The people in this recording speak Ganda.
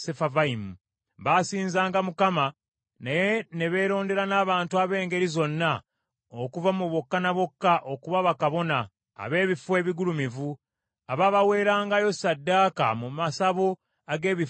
Baasinzanga Mukama , naye ne balonda n’abantu ab’engeri zonna okuva mu bokka ne bokka okuba bakabona, ab’ebifo ebigulumivu, abaabaweerangayo ssaddaaka mu masabo ag’ebifo ebigulumivu.